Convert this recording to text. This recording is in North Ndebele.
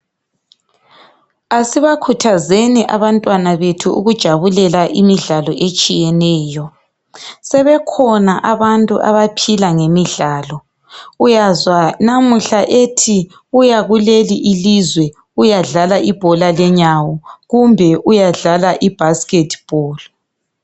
Asibakhuthazeni abantwana bethu ukujabulela imidlalo etshiyeneyo , sebekhona abantu asebephila ngemidlalo , uyazwa namuhla ethi uya kuleli ilizwe uyadlala ibhola lenyawo kumbe uyadlala ibasket ball